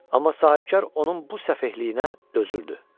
Amma sahibkar onun bu səfehliyinə dözürdü.